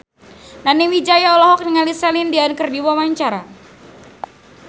Nani Wijaya olohok ningali Celine Dion keur diwawancara